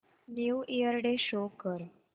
new year day show कर